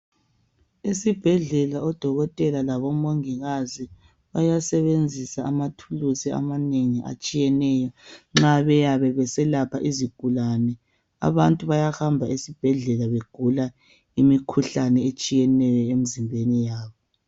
Esibhedlela odokotela labo mongikazi bayasebenzisa amathuluzi amanengi nxa beselapha izigulane. Abantu bayahamba esibhedlela begula imikhuhlane etshiyeneyo emzimbeni yabo.